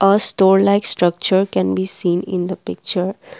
the store like structure can be seen in the picture.